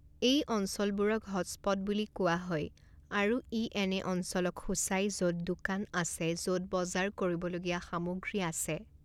এই অঞ্চলবোৰক হটস্পট বুলি কোৱা হয় আৰু ই এনে অঞ্চলক সূচায় য'ত দোকান আছে য'ত বজাৰ কৰিবলগীয়া সামগ্ৰী আছে।